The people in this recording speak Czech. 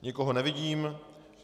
Nikoho nevidím.